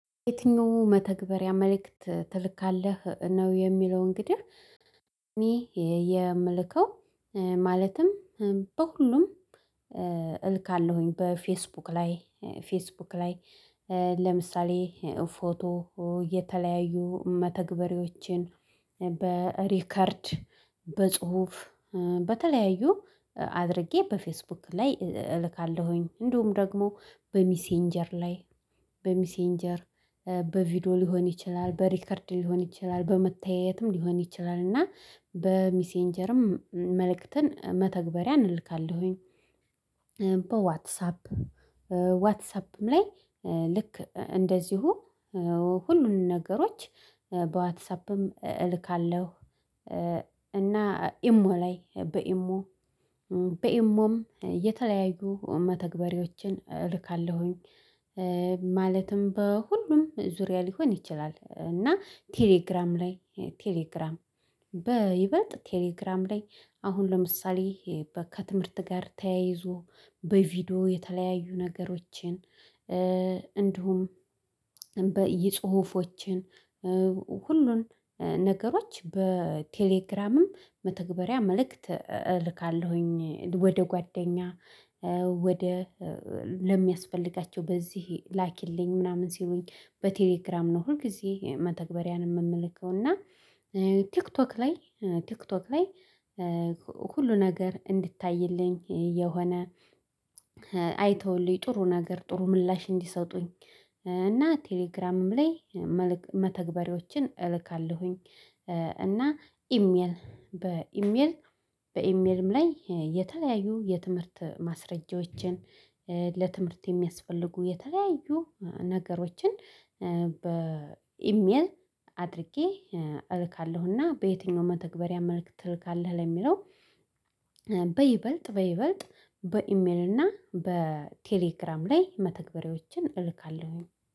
የትኛው መተግበሪያ መልእክት ትልካለህ ነው? የሚለውን እንግዲህ እኔ የምልከው ማለትም በሁሉም እልካለሁኝ በፌስቡክ ላይ ፌስቡክ ላይ ለምሳሌ ፎቶ የተለያዩ መተግበሪያዎችን በሪከርድ በጽሁፍ በተለያዩ አድርጌ በፌስቡክ ላይ እልካለሁኝ እንደውም ደግሞ በሚሴንጀር ላይ በሚሴንጀር በቪዲዮ ሊሆን ይችላል በሪከርድ ሊሆን ይችላል በመተያየትም ሊሆን ይችላል እና በሚሴንጀርም መልእክትን መተግበሪያን እንልካለሁኝ። በዋትሳፕ ዋትሳፕም ላይ ልክ እንደዚሁ ሁሉንም ነገሮች በዋትሳፕም እልካለሁ እና ኢሞ ላይ በኢሞ በኢሞም የተለያዩ መተግበሪያዎችን እልካለሁኝ። ማለትም በሁሉም ዙሪያ ሊሆን ይችላል እና ቴሌግራም ላይ ቴሌግራም በይበጥ ቴሌግራም ላይ አሁን ለምሳሌ ከትምህርት ጋር ተያይዞ በቪዲዮ የተለያዩ ነገሮችን እንደውም በጽሁፎችን ሁሉን ነገሮች በቴሌግራምም መተግበሪያ መልእክት እልካለሁኝ ወደ ጓደኛ ወደ ለሚያስፈልጋቸው በዚህ ላኪልኝ ምናምን ሲሉኝ በቴሌግራም ነው ሁልጊዜ መተግበሪያን የምልከው። እና ቲክቶክ ላይ ቲክቶክ ላይ ሁሉ ነገር እንዲታይልኝ የሆነ አይተውልኝ ጥሩ ነገር ጥሩ ምላሽ እንዲሰጡኝ እና ቴሌግራምም ላይ መተግበሪያዎችን እልካለሁኝ። እና ኢሜል በኢሜል በኢሜልም ላይ የተለያዩ የትምህርት ማስረጃዎችን ለትምህርት የሚያስፈልጉ የተለያዩ ነገሮችን በኢሜል አድርጌ እልካለሁና። በየትኛው መተግበሪያ መልክት ትልካለህ? ለሚለው በይበልጥ በይበልጥ በኢሜል እና በቴሌግራም ላይ መተግበሪያዎችን እልካለሁኝ